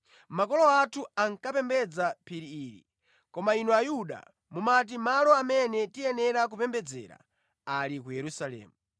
Makolo athu ankapembedza mʼphiri ili koma inu Ayuda mumati malo amene tiyenera kupembedzera ali ku Yerusalemu.”